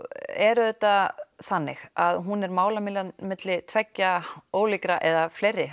er auðvitað þannig að hún er málamiðlun milli tveggja ólíkra eða fleiri